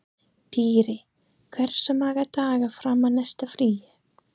Dýri, hversu margir dagar fram að næsta fríi?